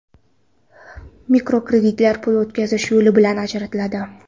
Mikrokreditlar pul o‘tkazish yo‘li bilan ajratiladi.